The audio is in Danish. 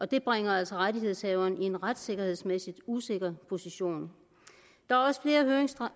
det bringer altså rettighedshaveren i en retssikkerhedsmæssigt usikker position